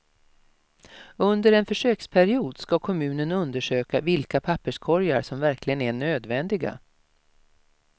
Under en försöksperiod ska kommunen undersöka vilka papperskorgar som verkligen är nödvändiga.